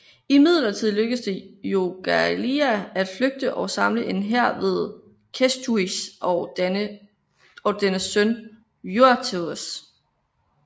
Imidlertid lykkedes det Jogaila at flygte og samle en hær mod Kęstutis og dennes søn Vytautas